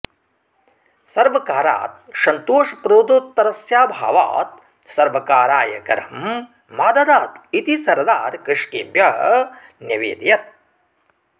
सर्वकारात् सन्तोषप्रदोत्तरस्याभावात् सर्वकाराय करं मा ददातु इति सरदार कृषकेभ्यः न्यवेदयत्